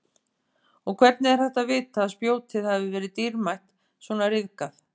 Og hvernig er hægt að vita að spjótið hafi verið dýrmætt svona ryðgað?